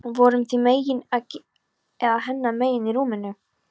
Voruð þið mín megin eða hennar megin í rúminu?